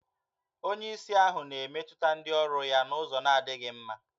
Onyeisi ahụ na-emetụta ndị ọrụ ya n'ụzọ na-adịghị mma